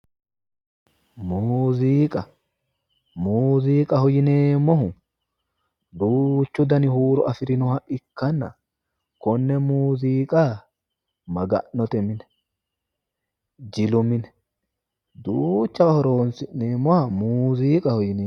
muziiqa muziiqaho yineemmohu duuchu dani huuro afirinoha ikkanna konne muziiqa maga'note mine jilu mine duuchawa horonsi'neemmoha muziiqaho yineemmo.